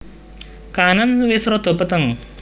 Kahanan wis rada peteng